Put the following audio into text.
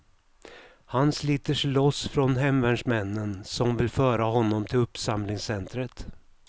Han sliter sig loss från hemvärnsmännen som vill föra honom till uppsamlingscentret.